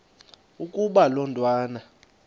ukuba lo mntwana